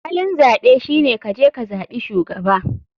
Halin zaɓe shine kaje kazaɓi shugaba.